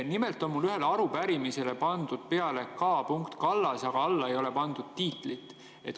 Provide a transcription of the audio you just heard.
Mul on ühele arupärimisele pandud peale "K. Kallas", aga juurde ei ole pandud tiitlit.